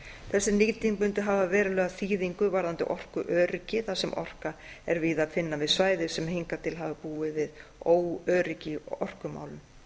þessi nýting mundi hafa verulega þýðingu varðandi orkuöryggi þar sem orku er víða að finna við svæði sem hingað til hafa búið við óöryggi í orkumálum